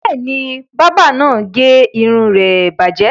Bẹ́ẹ̀ ni, bábà náà gé irun rẹ bàjẹ́.